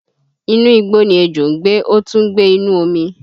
Inú igbó ni ejò ń gbé, ó tún ń gbé inú omi